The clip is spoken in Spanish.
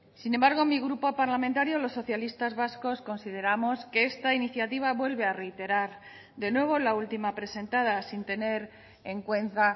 sin embargo mi grupo parlamentario los socialistas vascos consideramos que esta iniciativa vuelve a reiterar de nuevo la última presentada sin tener en cuenta